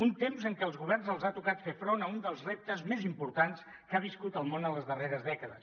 un temps en què els governs els ha tocat fer front a un dels reptes més importants que ha viscut el món en les darreres dècades